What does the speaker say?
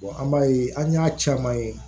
an b'a ye an y'a caman ye